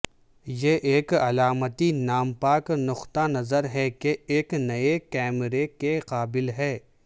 یہ ایک علامتی نام پاک نقطہ نظر ہے کہ ایک نئے کیمرے کے قابل ہے